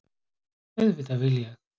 Auðvitað vil ég!